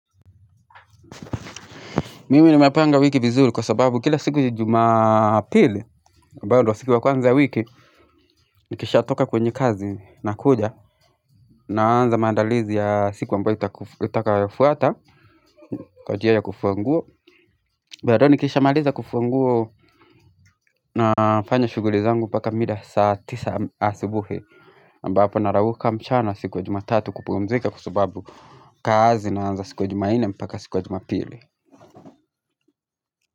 Mimini mapanga wiki vizuri kwa sababu kila siku juma pili aMbando wa siku wakuanza wiki Nikisha toka kwenye kazi na kuja Naanza mandalizi ya siku ambayo itakafuata Kwa unjia ya kufuanguo Mbadoo nikisha maaliza kufuanguo na fanya shuguli zangu paka mida saa tisa asibuhe ambapo narawuka mchana siku wa jumatatu kupumzika kwa sababu kazi naanza siku wa jumaine mpaka siku wa jumapili.